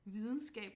Videnskab